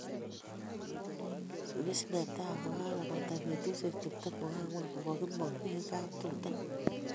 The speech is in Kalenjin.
Ibis netai kokebata betusiek tiptem ak ang'wan kokakimong' eng kaptuta